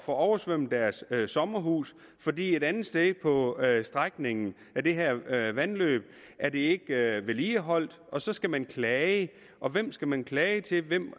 får oversvømmet deres sommerhus fordi et andet sted på strækningen af det her vandløb er det ikke vedligeholdt og så skal man klage og hvem skal man klage til hvem